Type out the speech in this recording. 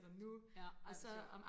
ja ej hvor sjovt